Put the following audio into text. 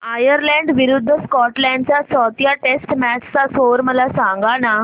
Ireland विरूद्ध Scotland च्या चौथ्या टेस्ट मॅच चा स्कोर मला सांगना